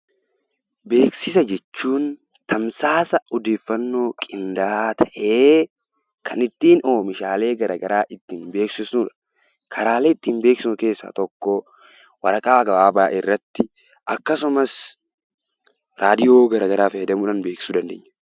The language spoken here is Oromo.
Beeksisa jechuun tamsaasa odeeffannoo qindaa'aa ta'ee kan ittiin oomishaalee garaagaraa ittiin beeksisnuu dha. Karaalee ittiin beeksisnu keessaa tokko waraqaa gabaabaa irratti akkasumas raadiyoo garaagaraa fayyadamuudhaan beeksisuu dandeenya.